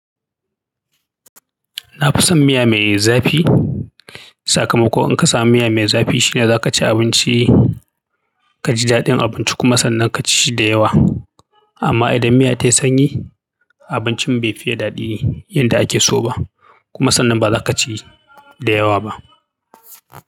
Na fi son miya mai zafi. Sakamako in ka samu miya mai zafi shine za ka ci abinci, ka ji daɗin abinci kuma sannan ka ci shi da yawa. Amma idan miya ta yi sanyi, abincin bai fiye daɗi yanda a ke so ba. Kuma sannan ba za ka ci da yawa ba.